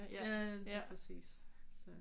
Ja lige præcis så